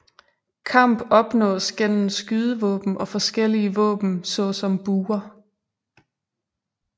Kamp opnås gennem skydevåben og forskellige våben såsom buer